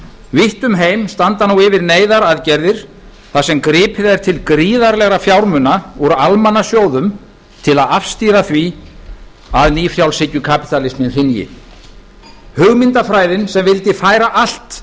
vítt um heim standa nú yfir neyðaraðgerðir þar sem gripið er til graaðrlegra fjármuna úr almannasjóðum til að afstýra því að nýfrjálshyggjukapítalisminn hrynji hugmyndafræðin sem vaki færa allt